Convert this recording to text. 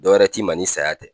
Dɔwɛrɛ t'i ma ni saya tɛ.